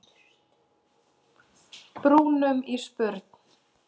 brúnunum í spurn.